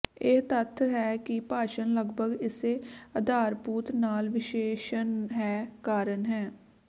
ਇਹ ਤੱਥ ਹੈ ਕਿ ਭਾਸ਼ਾ ਲਗਭਗ ਇਸੇ ਆਧਾਰਭੂਤ ਨਾਲ ਵਿਸ਼ੇਸ਼ਣ ਹੈ ਕਾਰਨ ਹੈ